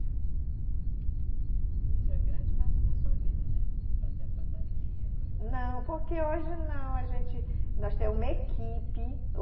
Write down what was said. Isso é grande parte da sua vida, né? Fazer a fantasia, a coreo. Não, porque hoje não, a gente... nós temos uma equipe.